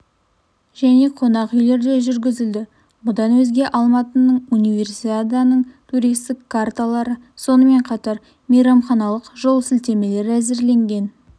және қонақ үйлерде жүргізілді бұдан өзге алматының универсиаданың туристік карталары сонымен қатар мейрамханалық жолсілтемелер әзірленген